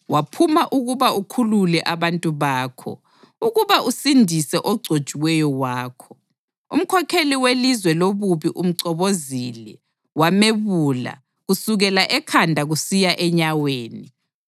Waphuma ukuba ukhulule abantu bakho, ukuba usindise ogcotshiweyo wakho. Umkhokheli welizwe lobubi umchobozile, wamebula kusukela ekhanda kusiya enyaweni.